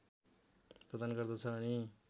प्रदान गर्दछ अनि